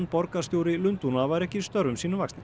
borgarstjóri Lundúna væru ekki störfum sínum vaxnir